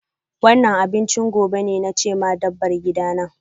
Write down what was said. Wannan abinchin gobe ne, na ce ma dabbar gidana.